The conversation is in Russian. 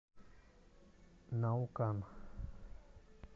наукан